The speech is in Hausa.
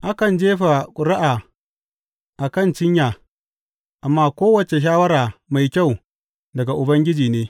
Akan jefa ƙuri’a a kan cinya, amma kowace shawara mai kyau daga Ubangiji ne.